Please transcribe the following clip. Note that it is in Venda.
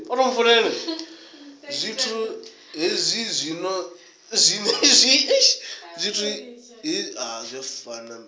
zwithu izwi zwino zwi ambiwa